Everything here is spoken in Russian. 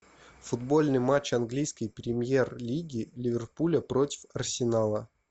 футбольный матч английской премьер лиги ливерпуля против арсенала